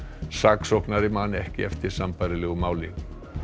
saksóknari man ekki eftir sambærilegu máli